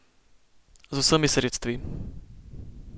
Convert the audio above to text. Z vsemi sredstvi.